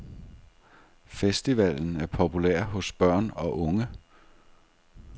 Festivalen er populær hos børn og unge.